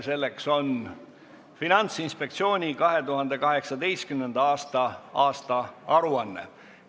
Selleks on Finantsinspektsiooni 2018. aasta aastaaruanne.